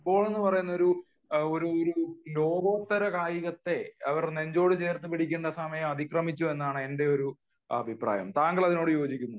football എന്ന് പറയുന്ന ഒരു ലോകോത്തര കായികത്തെ അവർ നെഞ്ചോട് ചേർത്ത് പിടിക്കുന്ന സമയം അതിക്രമിച്ചു എന്നാണ് എന്റെ ഒരു അഭിപ്രായം താങ്കൾ അതിനോട് യോജിക്കുന്നുണ്ടോ